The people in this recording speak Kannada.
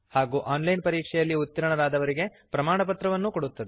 ಹಾಗೂ ಆನ್ ಲೈನ್ ಪರೀಕ್ಷೆಯಲ್ಲಿ ಉತ್ತೀರ್ಣರಾದವರಿಗೆ ಪ್ರಮಾಣಪತ್ರವನ್ನು ಕೊಡುತ್ತದೆ